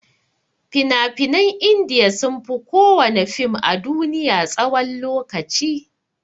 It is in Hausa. Fina-finan india sunfi kowana fim a duniya tsawan lokaci.